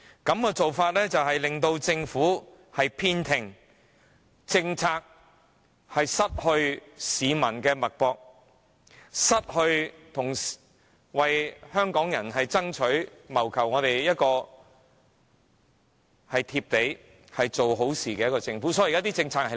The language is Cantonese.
這種做法只會令政府偏聽，令政策不能掌握市民的脈搏，同時失去了一個為香港人爭取、謀福利、做好事而體察民情的政府。